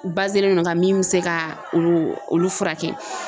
o no kan min bɛ se ka o olu furakɛ